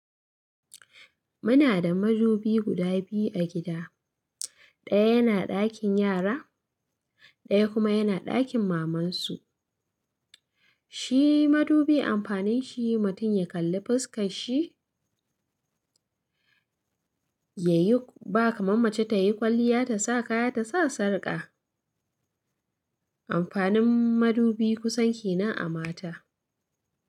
Muna da madubi guda biyu a gida, ɗaya yana dakin yara, ɗaya kuma yana dakin mamansu. Shi madubi amfanin shi mutum ya kalli fuskar shi, ya yi ba kamar mace ta yi kwalliya ta sa kaya ta sa sarƙa. Amfanin madubi kusan ke nan a mata.